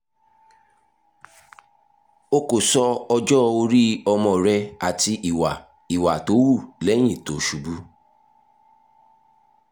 o kò sọ ọjọ́-orí ọmọ rẹ àti ìwà ìwà tó hù lẹ́yìn tó ṣubú